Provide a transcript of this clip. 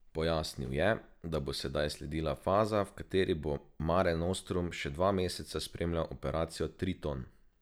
Pojasnil je, da bo sedaj sledila faza, v kateri bo Mare Nostrum še dva meseca spremljal operacijo Triton.